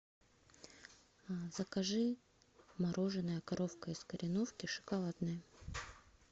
закажи мороженое коровка из кореновки шоколадное